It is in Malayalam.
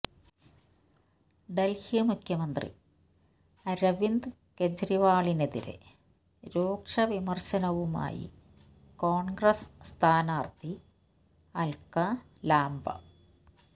ഡൽഹി മുഖ്യമന്ത്രി അരവിന്ദ് കേജ്രിവാളിനെതിരെ രൂക്ഷ വിമർശനവുമായി കോൺഗ്രസ് സ്ഥാനാർത്ഥി അൽക്ക ലാംബ